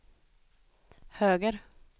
höger